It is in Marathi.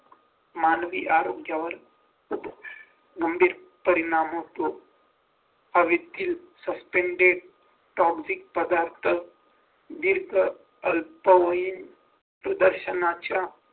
मानवी आरोग्यावर होतो गंभीर परिणाम होतो हवेतील suspended toxic पदार्थ तग प्रदर्शनाच्या